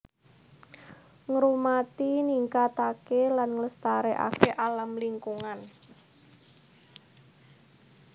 Ngrumati ningkataké lan nglestarekaké alam lingkungan